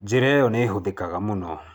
Njĩra ĩyo nĩ ĩhũthĩkaga mũno.